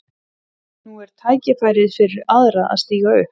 Nú er tækifærið fyrir aðra að stíga upp.